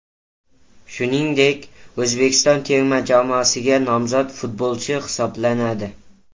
Shuningdek, O‘zbekiston terma jamoasiga nomzod futbolchi hisoblanadi.